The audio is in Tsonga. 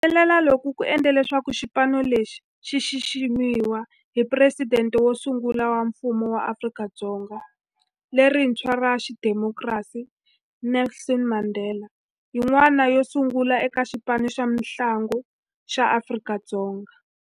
Ku humelela loku ku endle leswaku xipano lexi xi xiximiwa hi Presidente wo sungula wa Mfumo wa Afrika-Dzonga lerintshwa ra xidemokirasi, Nelson Mandela-yin'wana yo sungula eka xipano xa mintlangu xa Afrika-Dzonga.